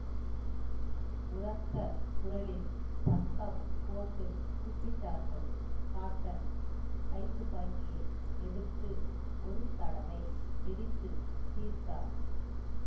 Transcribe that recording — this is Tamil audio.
உரத்த குரலில் சத்தம் போட்டு கூப்பிட்டார்கள் காப்டன் கைத்துப்பாக்கியை எடுத்து ஒரு தடவை வெடித்து தீர்த்தார்